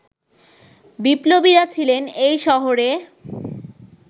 বিপ্লবীরা ছিলেন এই শহরে